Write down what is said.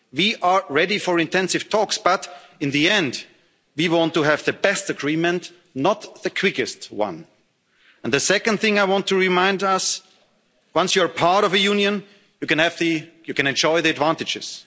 We are ready for intensive talks, but in the end, we want to have the best agreement, not the quickest one. And the second thing I want to remind us is once you're part of a union, you can enjoy the advantages